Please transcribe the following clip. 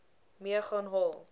mee gaan haal